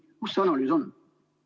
Kus see analüüs on?